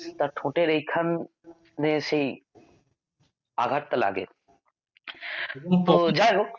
তার ঠোঁটের এইখানে সেই আঘাতটা লাগে তো যাই হোক